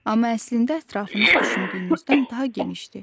Amma əslində ətrafınız düşündüyünüzdən daha genişdir.